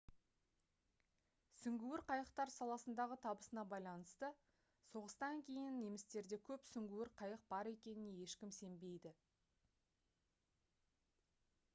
сүңгуір қайықтар саласындағы табысына байланысты соғыстан кейін немістерде көп сүңгуір қайық бар екеніне ешкім сенбейді